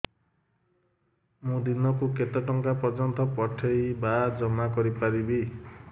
ମୁ ଦିନକୁ କେତେ ଟଙ୍କା ପର୍ଯ୍ୟନ୍ତ ପଠେଇ ବା ଜମା କରି ପାରିବି